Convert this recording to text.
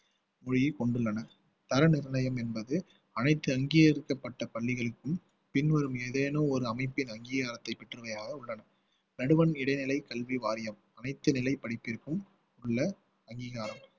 மொழியை கொண்டுள்ளன தர நிர்ணயம் என்பது அனைத்து அங்கீகரிக்கப்பட்ட பள்ளிகளுக்கும் பின்வரும் ஏதேனும் ஒரு அமைப்பின் அங்கீகாரத்தை பெற்றமையாக உள்ளன உள்ளன நடுவண் இடைநிலை கல்வி வாரியம் அனைத்து நிலை படிப்பிற்கும் உள்ள அங்கீகாரம்